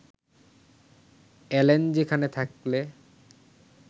এল্যান, সেখানে থাকলে